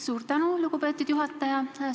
Suur tänu, lugupeetud juhataja!